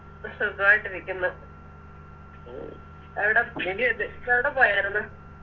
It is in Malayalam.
സുഖാവായിട്ടിരിക്കുന്നു എവിടെ എവിടെപോയാര്ന്ന്